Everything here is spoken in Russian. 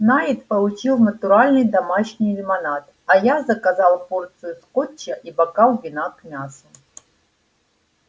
найд получил натуральный домашний лимонад а я заказал порцию скотча и бокал вина к мясу